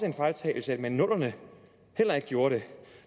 en fejltagelse at man i nullerne heller ikke gjorde det